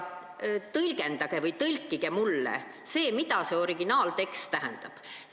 Tõlgendage või tõlkige mulle see, mida see originaaltekst tähendab.